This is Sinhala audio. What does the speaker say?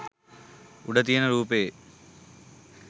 උඩ තියන රූපයේ